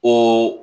O